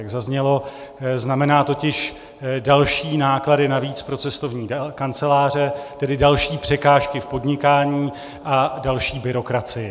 Jak zaznělo, znamená totiž další náklady navíc pro cestovní kanceláře, tedy další překážky v podnikání a další byrokracii.